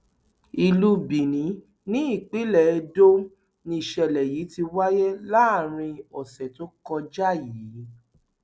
ìlú benin nípínlẹ edo nìṣẹlẹ yìí ti wáyé láàrin ọsẹ tó kọjá yìí